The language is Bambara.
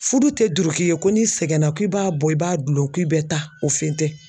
Furu tɛ duoki ye ko n'i sɛgɛnna k'i b'a bɔ i b'a dulon k'i bɛ taa o fɛn tɛ